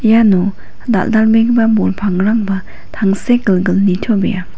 iano dal·dalbegipa bol pangrangba tangsekgilgil nitobea.